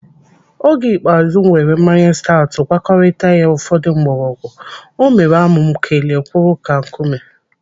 Oge ikpeazụ m weere mmanya staọtụ gwakọrita ya ụfọdụ mgbọrọgwụ, o mere amụ m kelie kwụrụ ka nkume.